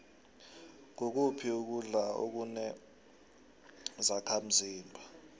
ngukuphi ukudla akune zakhdmzimba